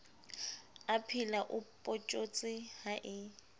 aphela o photjhotse ha e